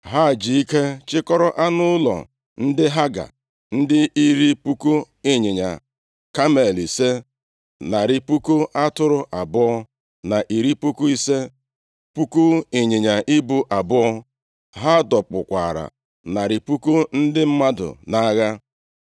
Ha ji ike chịkọrọ anụ ụlọ ndị Haga, dị iri puku ịnyịnya kamel ise, narị puku atụrụ abụọ na iri puku ise, puku ịnyịnya ibu abụọ. Ha dọkpụkwara narị puku ndị mmadụ nʼagha.